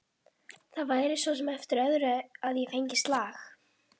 Það væri svo sem eftir öðru að ég fengi slag.